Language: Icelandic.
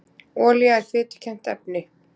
olía er fitukennt efni